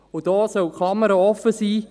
Und hier soll die Klammer offen sein: